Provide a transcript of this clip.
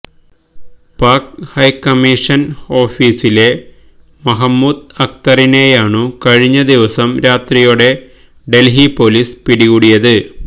പാക് ഹൈക്കമ്മിഷന് ഓഫിസിലെ മഹ്മൂദ് അക്തറിനെയാണു കഴിഞ്ഞദിവസം രാത്രിയോടെ ഡല്ഹി പൊലിസ് പിടികൂടിയത്